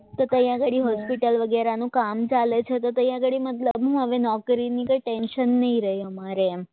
તો અહીંયા ઘણી હોસ્પિટલ વગેરેનું કામ ચાલે છે તો અહીંયા આગળ નોકરીની ટેન્શન નહીં રહે અમારે એમ